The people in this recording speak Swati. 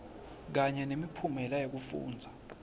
kanye nemiphumela yekufundza